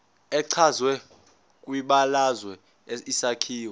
echazwe kwibalazwe isakhiwo